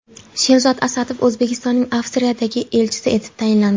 Sherzod Asadov O‘zbekistonning Avstriyadagi elchisi etib tayinlandi.